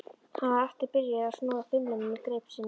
Hann var aftur byrjaður að snúa þumlunum í greip sinni.